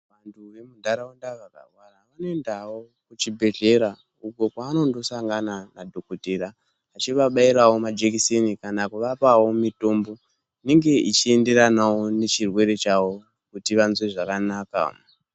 Muntaraunda mune ndau dzechibhehleya uko kwaanondosangana nadhogodhera echivabairawo majekiseni kana kuvapawo mutombo unoenderana nechirwere chavo kuti vanzwe zvakanaka. .